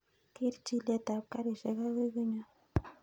Kerr chilet ab garishek akoi konyonn